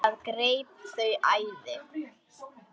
Það greip þau æði.